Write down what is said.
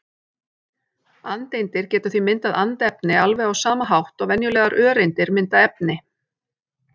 Andeindir geta því myndað andefni alveg á sama hátt og venjulegar öreindir mynda efni.